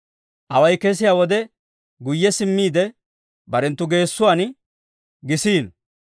Away kesiyaa wode, guyye simmiide barenttu geessuwaan gisiino.